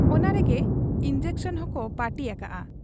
ᱚᱱᱟᱨᱮᱜᱮ injection ᱦᱚᱸᱠᱚ ᱯᱟᱹᱴᱤ ᱟᱠᱟᱜ ᱟ ᱾